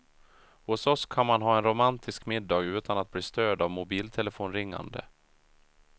Hos oss kan man ha en romantisk middag utan att bli störd av mobiltelefonringande.